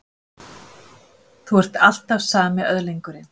Þú ert alltaf sami öðlingurinn.